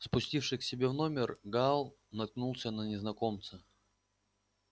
спустившись к себе в номер гаал наткнулся на незнакомца